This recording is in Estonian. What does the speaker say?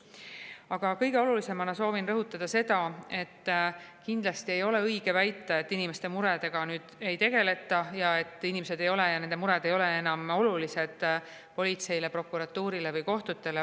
Aga kõige olulisemana soovin rõhutada seda, et kindlasti ei ole õige väita, et inimeste muredega ei tegeleta ja et inimesed ja nende mured ei ole enam olulised politseile, prokuratuurile või kohtutele.